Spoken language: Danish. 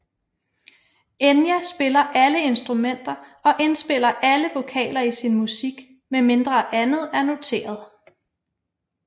Enya spiller alle instrumenter og indspiller alle vokaler i sin musik medmindre andet er noteret